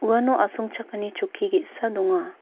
uano asongchakani chokki ge·sa donga.